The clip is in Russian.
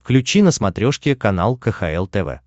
включи на смотрешке канал кхл тв